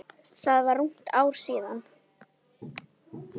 Það var rúmt ár síðan.